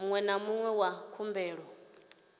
muṅwe na muṅwe wa khumbelo